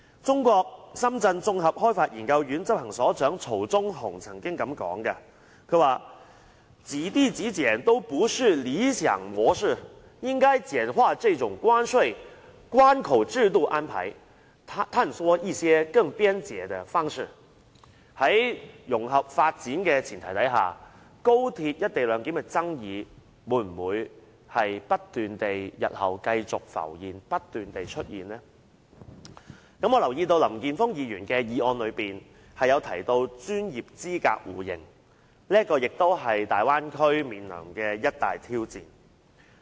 中國綜合開發研究院執行所長曹鐘雄曾經表示，"幾地幾檢都不是理想模式，應該簡化這種關稅、關口制度安排，探索一些更便捷的方式"。在融合發展的前提下，高鐵"一地兩檢"的爭議會否不斷在日後繼續浮現？我留意到林健鋒議員的原議案內有提到專業資格互認的問題，這也是大灣區面臨的一大挑戰。